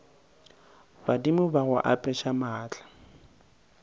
badimo ba go apeša maatla